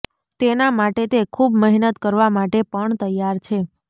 એના માટે તે ખૂબ મહેનત કરવા માટે પણ તૈયાર છે